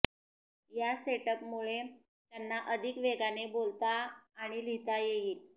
या सेटअपमुळे त्यांना अधिक वेगाने बोलता आणि लिहिता येईल